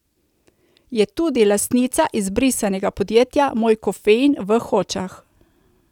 Je tudi lastnica izbrisanega podjetja Moj kafein v Hočah.